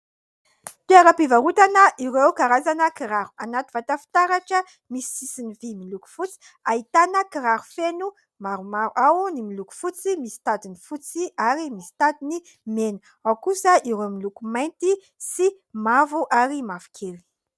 Toeram-pivarotana ireo karazana kiraro. Anaty vata fitaratra misy sisiny vy miloko fotsy. Ahitana kiraro feno maromaro, ao ny miloko fotsy misy tadiny fotsy ary misy tadiny mena, ao kosa ireo miloko mainty sy mavo ary mavokely.